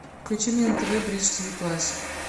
включи мне на тв бридж тв классик